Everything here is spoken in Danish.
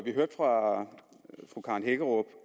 vi hørte fra fru karen hækkerup